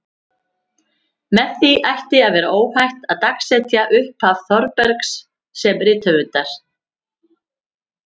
Með því ætti að vera óhætt að dagsetja upphaf Þórbergs sem rithöfundar.